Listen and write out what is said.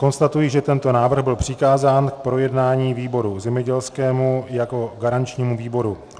Konstatuji, že tento návrh byl přikázán k projednání výboru zemědělskému jako garančnímu výboru.